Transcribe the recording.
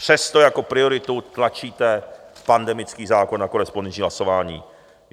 Přesto jako prioritu tlačíte pandemický zákon a korespondenční hlasování.